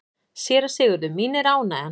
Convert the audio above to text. SÉRA SIGURÐUR: Mín er ánægjan.